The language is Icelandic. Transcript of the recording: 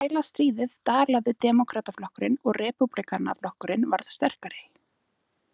Við þrælastríðið dalaði Demókrataflokkurinn og Repúblikanaflokkurinn varð sterkari.